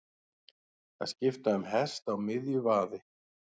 Að skipta um hest á miðju vaði